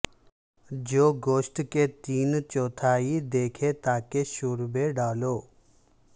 جو گوشت کے تین چوتھائی ڈھکے تاکہ شوربے ڈالو